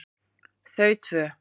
Þau tvö